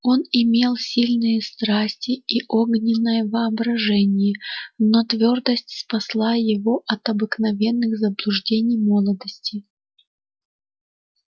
он имел сильные страсти и огненное воображение но твёрдость спасла его от обыкновенных заблуждений молодости